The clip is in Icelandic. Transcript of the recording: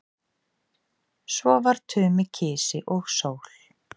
Svo var Tumi kisi og sól.